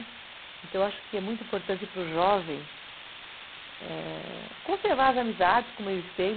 Então eu acho que é muito importante para o jovem, ãh... conservar as amizades como eles têm.